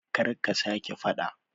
Kar ka sa ke fada